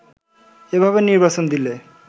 এভাবে নির্বাচন দিলে